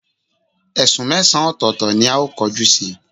Esún mesan otòòto ni ao koju si